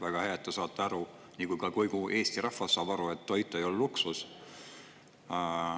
Väga hea, et te saate aru, nagu ka kogu Eesti rahvas saab aru, et toit ei ole luksus.